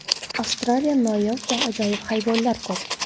Avstraliyada noyob va ajoyib hayvonlar ko‘p.